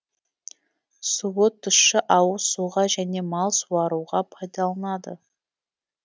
суы тұщы ауыз суға және мал суаруға пайдаланылады